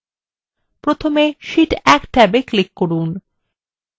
প্রথমে শীট 1 ট্যাবে click করুন